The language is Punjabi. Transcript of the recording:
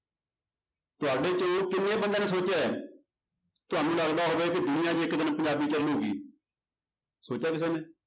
ਤੁਹਾਡੇ ਚੋਂ ਕਿੰਨੇ ਬੰਦਿਆਂ ਨੇ ਸੋਚਿਆ ਹੈ ਤੁਹਾਨੂੰ ਲੱਗਦਾ ਹੋਵੇ ਕਿ ਦੁਨੀਆਂ 'ਚ ਇੱਕ ਦਿਨ ਪੰਜਾਬੀ ਚੱਲੇਗੀ ਸੋਚਿਆ ਕਿਸੇ ਨੇ।